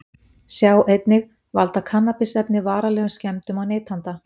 Sjá einnig: Valda kannabisefni varanlegum skemmdum á neytanda?